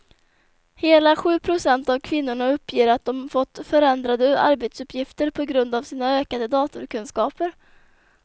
Hela sju procent av kvinnorna uppger att de fått förändrade arbetsuppgifter på grund av sina ökade datorkunskaper.